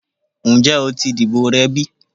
Njẹ o ti dibo rẹ bi?